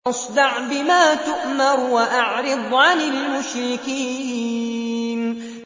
فَاصْدَعْ بِمَا تُؤْمَرُ وَأَعْرِضْ عَنِ الْمُشْرِكِينَ